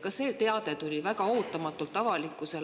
Ka see teade tuli avalikkusele väga ootamatult